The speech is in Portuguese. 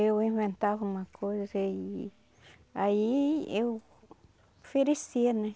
Eu inventava uma coisa e aí eu oferecia, né?